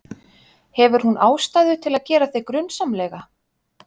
Hefur hún ástæðu til að gera þig grunsamlega?